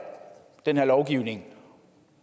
den her lovgivning